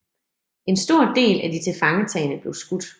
En stor del af de tilfangetagne blev skudt